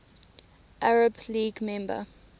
arab league member